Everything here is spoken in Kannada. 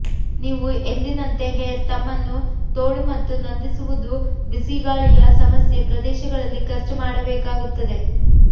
ನೀವು ಎಂದಿನಂತೆ ಹೇರ್ ತಮ್ಮನ್ನು ತೋಳು ಮತ್ತು ನಂದಿಸುವುದು ಬಿಸಿಗಾಳಿಯ ಸಮಸ್ಯೆ ಪ್ರದೇಶಗಳಲ್ಲಿ ಖರ್ಚು ಮಾಡಬೇಕಾಗುತ್ತದೆ